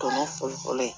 Tɔnɔ fɔlɔfɔlɔ ye